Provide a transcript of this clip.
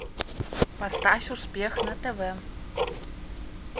поставь успех на тв